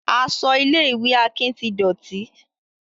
Aṣọ ilé ìwé Akin ti dọ̀tí